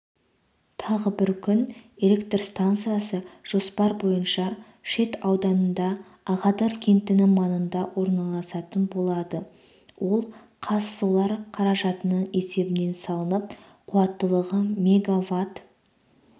тағы бір күн электр станциясы жоспар бойынша шет ауданында ағадыр кентінің маңында орналасатын болады ол казсолар қаражатының есебінен салынып қуаттылығы мвт